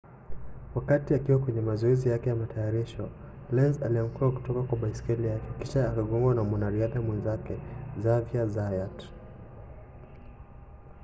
wakati akiwa kwenye mazoezi yake ya matayarisho lenz alianguka kutoka kwa baiskeli yake kisha akagongwa na mwanariadha mwenzake xavier zayat